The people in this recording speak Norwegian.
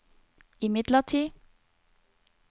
imidlertid